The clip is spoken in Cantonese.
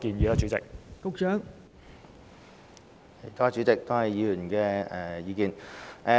代理主席，多謝議員的意見。